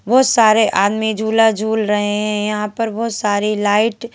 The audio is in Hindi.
बहोत सारे आदमी झूला झूल रहे हैं यहां पर बहोत सारे लाइट --